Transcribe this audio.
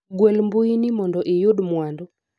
gwel mbui ni mondo iyud mwandu